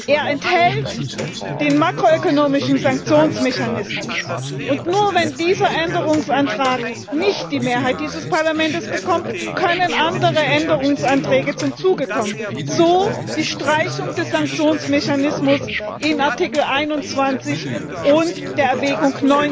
Er enthält den makroökonomischen Sanktionsmechanismus. Und nur, wenn dieser Änderungsantrag nicht die Mehrheit dieses Parlaments bekommt, können andere Änderungsanträge zum Zuge kommen so etwa die Streichung des Sanktionsmechanismus in Artikel 21 und der Erwägung